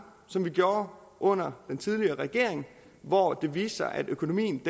som vi gjorde under den tidligere regering hvor det viste sig at økonomien